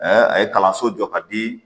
a ye kalanso jɔ ka di